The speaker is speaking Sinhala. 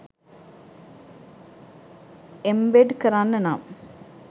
එම්බෙඩ් කරන්න නම්